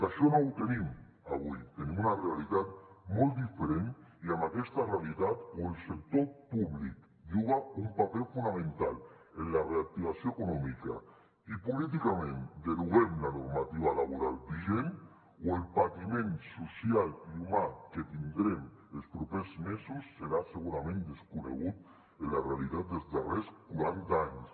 això no ho tenim avui tenim una realitat molt diferent i amb aquesta realitat o el sector públic juga un paper fonamental en la reactivació econòmica i políticament deroguem la normativa laboral vigent o el patiment social i humà que tindrem els propers mesos serà segurament desconegut en la realitat dels darrers quaranta anys